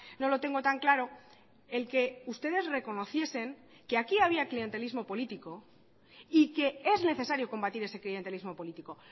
no lo tengo tan claro el que ustedes reconociesen que aquí había clientelismo político y que es necesario combatir ese clientelismo político